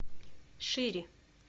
шери